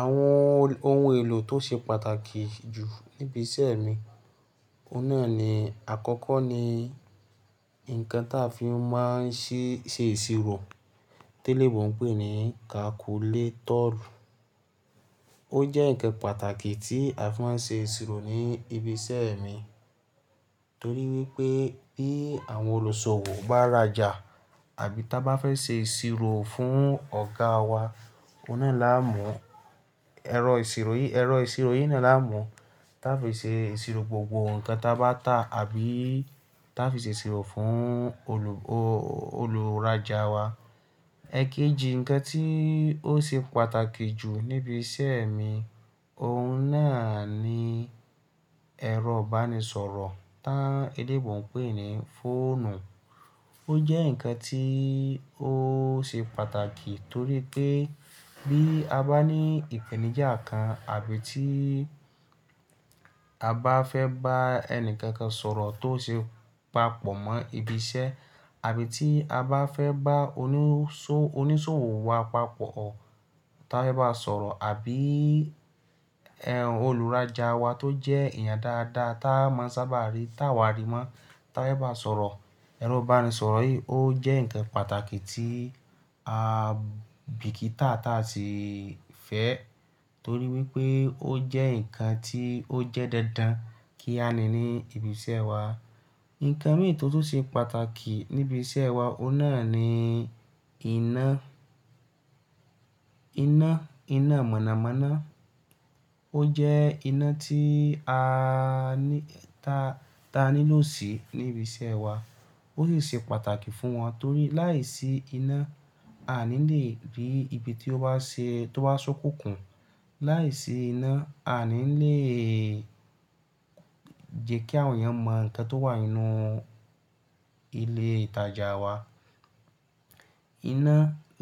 Àwọn ohun èlò tó ṣe pàtàkì jù níbi iṣẹ́ mi, òun náà ni, àkọ́kọ́ ni ǹkan táa fi máa ń ṣe ìṣirò, téleèbó n pè ní kakuletọ. Ó jẹ́ ǹkan pàtàkì tí a fi máa ń ṣe ìṣirò ní ibi iṣẹ́ mi, torí wípé bí àwọn olùsọ̀wọ̀ bá rajà àbí táa bá fẹ́ ṣe ìṣirò fún ọ̀gáa wa, ọ̀nà náà la mú. Ero ise ẹ̀rọ ìṣirò yìí náà la mú táa fi ṣe ìṣirò gbogbo ǹkan táa bá ta àbí táa fi ṣe ìṣirò fún olùrajà wa. Ẹ̀èkeji ǹkan tí ó ṣe pàtàkì jù níbi iṣẹ́ mi, òun náà ni ẹ̀rọ ìbánisọ̀rọ̀ tán eléèbó ń pè ní fóònù. Ó jẹ́ ǹkan tí ó ṣe pàtàkì torí pé bí a bá ní ìpèníjà kan àbí tí a bá fẹ́ bá ẹni kankan sọ̀rọ̀ tó ṣe papọ̀ mọ́ ibi iṣẹ́ àbí tí a bá fẹ́ bá oníṣòwò wa papọ̀ táa fe bá sọ̀rọ̀ àbí olùrajà wa tó jẹ́ èèyàn dáadáa táa máa ń sábà rí táa wá rí mọ́ táa fe ba sọ̀rọ̀. Ẹ̀rọ ìbánisọ̀rọ̀ yìí ó jẹ́ ǹkan pàtàkì tí a bìkítà táa ti si fẹ́ torí wípé ó jẹ́ ǹkan tí ó jẹ́ dándán kí a ní ní ibi iṣẹ́ wa. Ǹkan mìí tó tún ṣe pàtàkì níbi iṣẹ́ wa, òun náà ni iná. Iná mọ̀nàmọ́ná. Ó jẹ́ iná tí a ní ta nílò sí níbi iṣẹ́ wa. Ó sì ṣe pàtàkì fún wa torí láìsí iná, a ní lè dé ibi tí ó bá ṣókùnkùn. Láìsí iná, a ní lè jẹ́ kí àwọn èèyàn mọ ǹkan tó wà nínú ilé ìtajà wa. Iná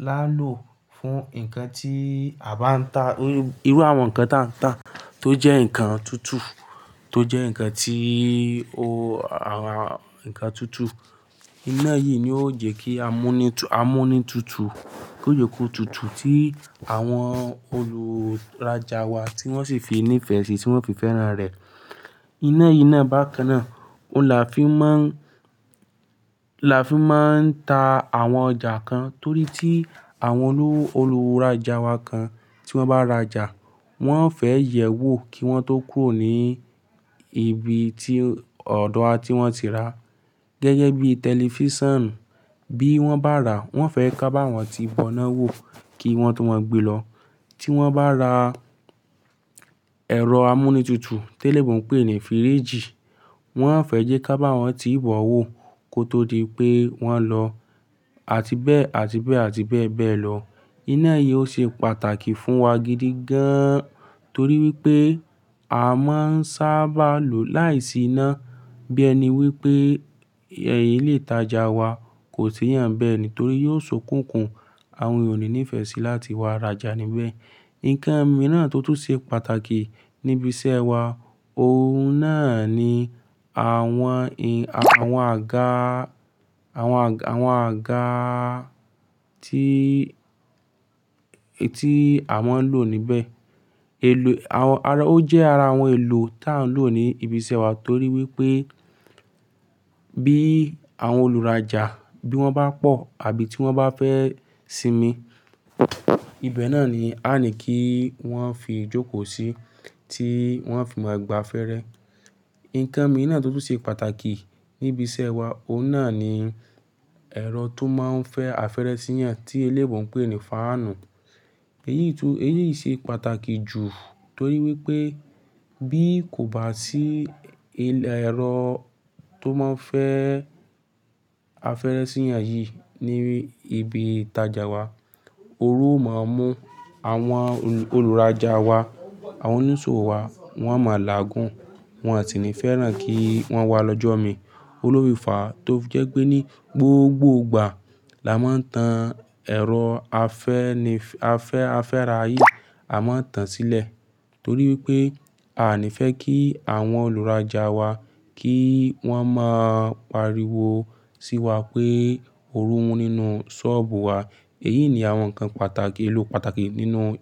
la lò fún ǹkan tí a bá ń ta. Irú àwọn ǹkan táa ń ta tó jẹ́ ǹkan tútù tó jẹ́ ǹkan tí o àwọn ǹkan tútù. Iná yìí ni ó jẹ́ kí amúnútutù ki yío jé kó tutù tí àwọn olùrajà wa tí wọ́n sì fi ní ìfẹ́ sí i tí wọ́n fì fẹ́ran rẹ̀. Iná yìí náà bá kánnaá, òun la fi máa ń ta àwọn ọjà kan torí tí àwọn olùrajà wa kan tí wọ́n bá rajà, wọ́n fẹ́ yẹ̀ ẹ́ wò kí wọ́n tó kúrò ní ibi ti ọ̀dọ̀ wa tí wọ́n ti ràá. Gẹ́gẹ́ bí tẹlifísàn bí wọ́n bá rà á, wọ́n fẹ́ ká bá wọn ti bọ́ná wò kí wọ́n tó máa gbe lọ. Tí wọ́n bá ra ẹ̀rọ amúnútutù téleèbó ń pèé ní fíríìjì, wọ́n fẹ́ jẹ́ ká bá wọn ti bọ́ó wò kó tó di pé wọ́n lọ àti bẹ́ẹ̀ bẹ́ẹ̀ lọ. Iná yìí ó ṣe pàtàkì fún wa gidi gan an torí wípé a máa ń sábà lòó láìsí iná. Bí ẹni wípé ẹ̀hn ilé ìtajà wa kò séyàn n bẹ́ẹ̀ ni torí yóò ṣókùnkùn àwọn ènìyàn o ní nífẹ́ sí láti wá rajà níbẹ̀. Ǹkan mìíràn tó tún ṣe pàtàkì níbi iṣẹ́ wa, òun náà ni àwọn àga tí à máa ń lò níbẹ̀. Ó jẹ́ ara àwọn èlò táa ń lò ní ibi iṣẹ́ wa torí wípé bí àwọn olùrajà bí wọ́n bá pọ̀ àbí tí wọ́n bá fẹ́ sinmi, ibẹ̀ náà ni a ní kí wọ́n fi jókòó sí tí wọ́n fi máa gba afẹ́rẹ́. Ǹkan mìíràn tó tún ṣe pàtàkì níbi iṣẹ́ wa, òun náà ni ẹ̀rọ tó máa ń fẹ́ afẹ́rẹ́ síyàn tí eléèbó ń pè ní fáànù. Èyí tún ṣe pàtàkì jù torí wípé bí kò bá sí ẹ̀rọ tó máa ń fẹ́ afẹ́rẹ́ síyàn yìí ní ibi ìtajà wa, ooru ó máa mú àwọn olùrajà wa, àwọn oníṣòwò wa, wọ́n a máa làágùn, wọn an sì ní fẹ́ràn kí wọ́n wá lọ́jọ́ mi. Òun ló fi fá tó fi jẹ́ pé ní gbogbo ìgbà la máa ń tan ẹ̀rọ afẹ́ra yìí, a máa ń tan sílẹ̀ torí wípé a ní fẹ́ kí àwọn olùrajà wa kí wọ́n máa páríwo sí wa pé ooru ń mú nínú ṣọ́ọ̀bù wa. Èyí ni àwọn ǹkan pàtàkì, ohun èlò pàtàkì nínú ibi.